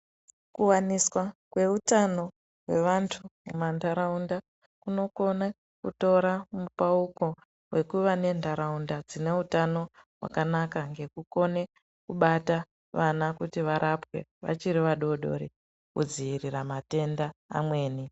Kuwaniswa kweutano hwevantu mumandaraunda kuno kona kutora mupauko wekuva nendaraunda dzine utano hwakanaka ngekukone kubata vana kuti varapwe vachiri vadoodori kudzivirira matenda.